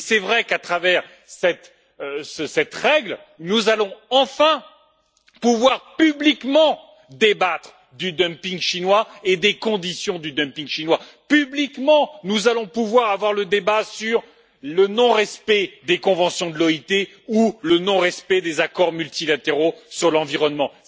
C'est vrai qu'à travers cette règle, nous allons enfin pouvoir publiquement débattre du dumping chinois et des conditions de ce dumping. Publiquement, nous allons pouvoir avoir un débat sur le non respect des conventions de l'OIT ou le non respect des accords multilatéraux sur l'environnement.